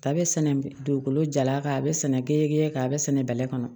A bɛ sɛnɛ dugukolo jalaki a bɛ sɛnɛ gere kan a bɛ sɛnɛ bɛlɛ kɔnɔ